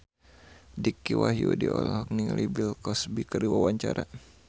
Dicky Wahyudi olohok ningali Bill Cosby keur diwawancara